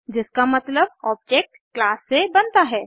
जिसका मतलब object class से बनता है